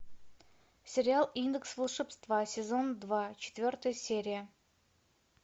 сериал индекс волшебства сезон два четвертая серия